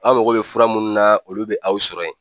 Aw mago bɛ fura minnu na olu bɛ aw sɔrɔ yen